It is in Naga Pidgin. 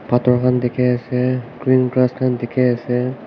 pathor khan dekhi ase krikran khan dekhi ase.